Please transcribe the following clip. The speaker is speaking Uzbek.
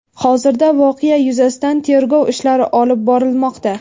Hozirda voqea yuzasidan tergov ishlari olib borilmoqda.